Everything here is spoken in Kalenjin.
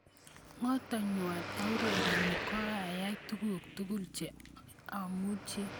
Ngotkoyanwa aureren koayae tuguk tugul che amuchi.